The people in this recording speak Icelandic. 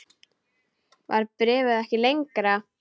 Var bréfið ekki lengra?